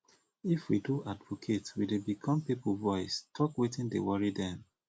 if we do advocate we dey become pipo voice talk wetin dey worry dem